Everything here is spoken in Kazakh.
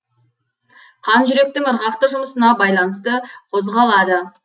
қан жүректің ырғақты жұмысына байланысты қозғалады